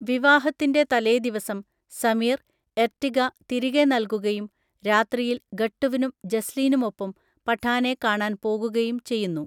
വിവാഹത്തിന്‍റെ തലേദിവസം സമീർ, എർട്ടിഗ തിരികെ നൽകുകയും രാത്രിയിൽ ഗട്ടുവിനും ജസ്ലീനുമൊപ്പം പഠാനെ കാണാൻ പോകുകയും ചെയ്യുന്നു.